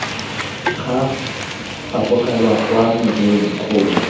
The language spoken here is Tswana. ga fapogelwa kwa mojeng gongwe